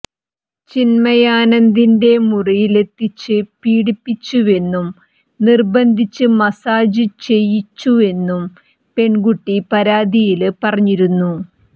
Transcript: ചിന്മയാനന്ദിന്റെ മുറിയിലെത്തിച്ച് പീഡിപ്പിച്ചുവെന്നും നിര്ബന്ധിപ്പിച്ച് മസാജ് ചെയ്യിച്ചുവെന്നും പെണ്കുട്ടി പരാതിയില് പറഞ്ഞിരുന്നു